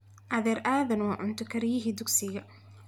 adher adan waa cunto kariyihii dugsiga